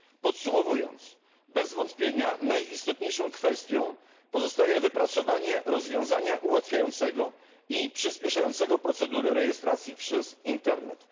Podsumowując, bez wątpienia najistotniejszą kwestią pozostaje wypracowanie rozwiązania ułatwiającego i przyspieszającego procedury rejestracji przez internet.